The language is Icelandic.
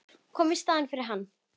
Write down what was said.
Koma í staðinn fyrir hann.